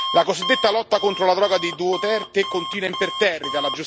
La cosiddetta lotta contro la droga di Duterte continua imperterrita